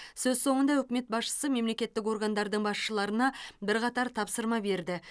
сөз соңында үкімет басшысы мемлекеттік органдардың басшыларына бірқатар тапсырма берді